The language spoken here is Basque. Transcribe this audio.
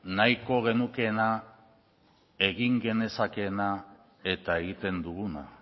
nahiko genukeena egin genezakeena eta egiten duguna